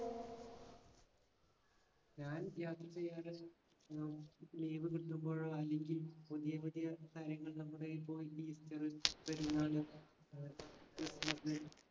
ഞാൻ യാത്ര ചെയ്യാറ് ഹും leave കിട്ടുമ്പോഴോ അല്ലെങ്കി പുതിയപുതിയ കാര്യങ്ങൾ നമ്മുടെ ഈപോലെ ഈസ്റ്റര് പെരുന്നാള്‍ ക്രിസ്മസ്